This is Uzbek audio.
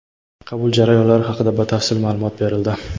qabul jarayonlari haqida batafsil maʼlumot berildi.